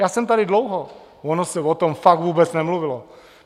Já jsem tady dlouho, ono se o tom fakt vůbec nemluvilo.